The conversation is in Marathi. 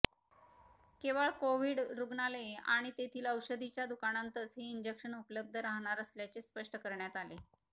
केवळ कोव्हिड रुग्णालये आणि तेथील औषधीच्या दुकानांतच हे इंजेक्शन उपलब्ध राहणार असल्याचे स्पष्ट करण्यात आले